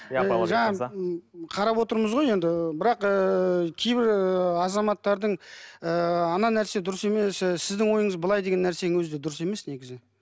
қарап отырмыз ғой енді бірақ ыыы кейбір ы азаматтардың ыыы ана нәрсе дұрыс емес ы сіздің ойыңыз былай деген нәрсенің өзі де дұрыс емес негізі